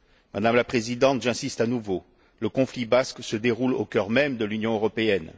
Madame la Présidente, j'insiste à nouveau, le conflit basque se déroule au cœur même de l'Union européenne.